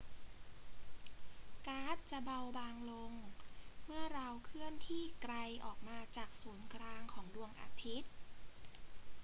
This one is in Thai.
ก๊าซจะเบาบางลงเมื่อเราเคลื่อนที่ไกลออกมาจากศูนย์กลางของดวงอาทิตย์